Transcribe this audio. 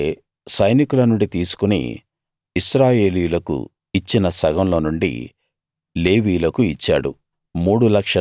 మోషే సైనికుల నుండి తీసుకుని ఇశ్రాయేలీయులకు ఇచ్చిన సగంలో నుండి లేవీయులకు ఇచ్చాడు